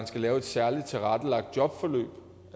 skal laves et særligt tilrettelagt jobforløb